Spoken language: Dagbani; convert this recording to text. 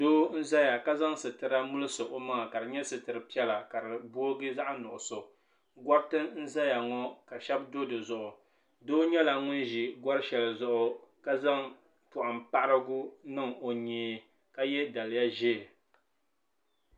doo n ʒɛya ka zaŋ sitira mirisi o maŋa ka di nyɛ sitiri piɛla ka di boogi zaɣ nuɣso gariti n ʒɛya ŋɔ ka shab do dizuɣu doo nyɛla ŋun ʒi gari shɛli zuɣu ka zaŋ zaŋ poham paharigu niŋ o nyee ka yɛ daliya ʒiɛ